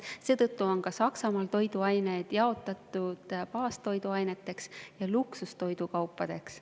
Seetõttu on Saksamaal toiduained jaotatud teatud baastoiduaineteks ja luksustoidukaupadeks.